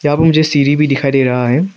अब मुझे सिढ़ी भी दिखाई दे रहा है।